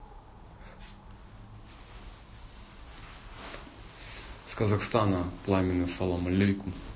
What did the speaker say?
с казахстана пламенный салам малейкум